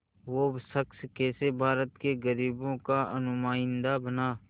वो शख़्स कैसे भारत के ग़रीबों का नुमाइंदा बना